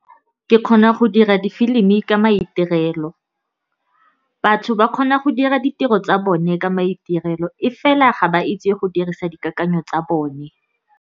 Ke kgona go dira difilimi ka maitirelo, batho ba kgona go dira ditiro tsa bone ka maitirelo, e fela ga ba itse go dirisa dikakanyo tsa bone.